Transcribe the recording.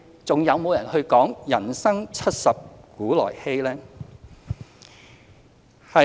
還有人會說"人生七十古來稀"嗎？